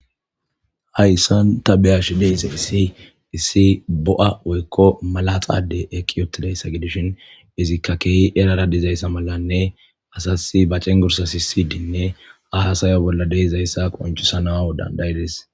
Hayssan ta beyashi deyse hissi issi bo7a woykko malaxade eki yotidayssa gidishin izikka keehi erara dizayssa malanne asasi ba cen gursa si sidinne aasayo bolla deizayssa qoncisanau dandayides